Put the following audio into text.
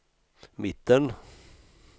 mitten